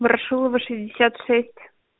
ворошилова шестьдесят шесть